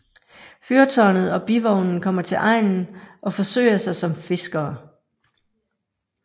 Fyrtårnet og Bivognen kommer til egnen og forsøger sig som fiskere